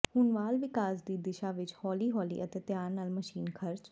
ਹੁਣ ਵਾਲ ਵਿਕਾਸ ਦੀ ਦਿਸ਼ਾ ਵਿੱਚ ਹੌਲੀ ਹੌਲੀ ਅਤੇ ਧਿਆਨ ਨਾਲ ਮਸ਼ੀਨ ਖਰਚ